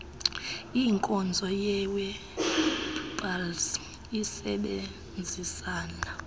inkonzo yewebpals isebenzisana